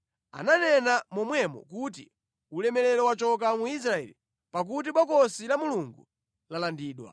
Ananena momwemo kuti, “Ulemerero wachoka mu Israeli, pakuti Bokosi la Mulungu lalandidwa.”